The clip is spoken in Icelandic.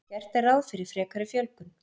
Gert er ráð fyrir frekari fjölgun